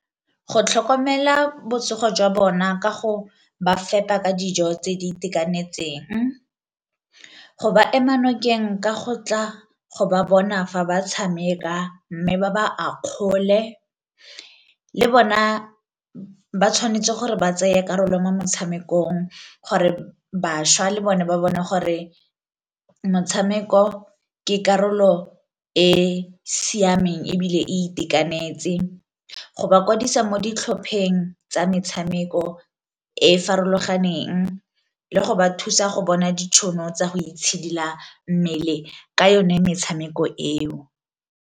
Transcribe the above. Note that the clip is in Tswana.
Go tlhokomela botsogo jwa bona ka go ba fepa ka dijo tse di itekanetseng, go ba ema nokeng nka go tla go ba bona fa ba tshameka mme ba ba a kgole, le bona ba tshwanetse gore ba tsaya karolo mo motshamekong gore bašwa le bone ba bone gore motshameko ke karolo e e siameng ebile itekanetse, go ba kwadisa mo ditlhopheng tsa metshameko e e farologaneng, le go ba thusa go bona ditšhono tsa go itshidila mmele ka yone metshameko eo.